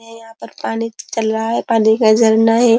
ये यहां पर पानी चल रहा है। पानी का झरना है।